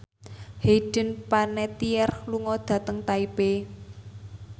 Hayden Panettiere lunga dhateng Taipei